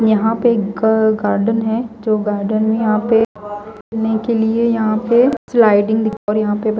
यहां पे एक गार्डन है जो गार्डन है यहां पे के लिए यहां पे स्लाइडिंग और यहां पे--